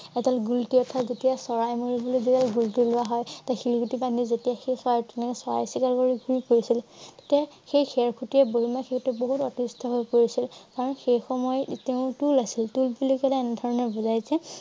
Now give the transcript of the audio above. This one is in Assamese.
এটা চৰাই শিলগুটি বান্ধি যেতিয়া সেই চৰাইটোৰ পিনে চাই আছিলে তাতে সেই খেৰখুটিয়ে বহুত অতিষ্ট হৈ পৰিছিল। কাৰণ সেই সময়ত তেওঁ টোল আছিল। টোল বুলি কলে এনে ধৰণৰ বুজাই যে